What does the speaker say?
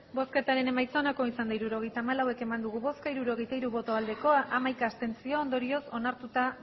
hirurogeita hamalau eman dugu bozka hirurogeita hiru bai hamaika abstentzio ondorioz onartuta